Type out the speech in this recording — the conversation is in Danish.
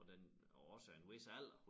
Og den også af en vis alder